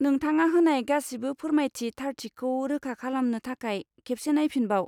नोंथाङा होनाय गासिबो फोरमायथि थारथिखौ रोखा खालामनो थाखाय खेबसे नायफिनबाव।